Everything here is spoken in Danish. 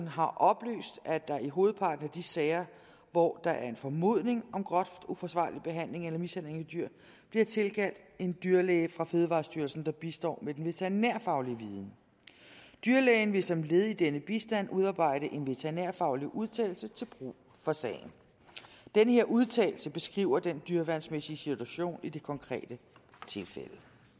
har oplyst at der i hovedparten af de sager hvor der er en formodning om groft uforsvarlig behandling eller mishandling af dyr bliver tilkaldt en dyrlæge fra fødevarestyrelsen der bistår med den veterinærfaglige viden dyrlægen vil som led i denne bistand udarbejde en veterinærfaglig udtalelse til brug for sagen denne udtalelse beskriver den dyreværnsmæssige situation i det konkrete tilfælde